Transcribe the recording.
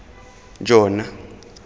jona